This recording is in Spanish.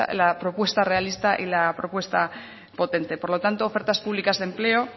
la propuesta realista y la propuesta potente por lo tanto ofertas públicas de empleo